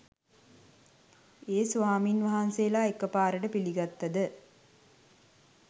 ඒ ස්වාමීන් වහන්සේලා එකපාරට පිළිගත්තද?